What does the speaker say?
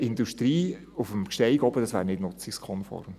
Industrie auf dem Gsteig oben, das wäre nicht nutzungskonform.